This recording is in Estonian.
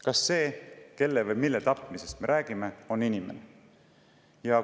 Kas see, kelle või mille tapmisest me räägime, on inimene?